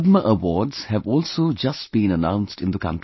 Padma awards have also just been announced in the country